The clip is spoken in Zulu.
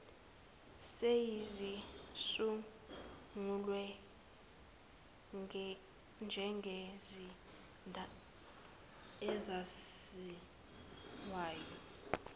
seyizisungule njengesizinda esaziwayo